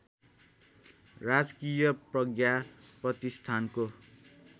राजकीय प्रज्ञा प्रतिष्ठानको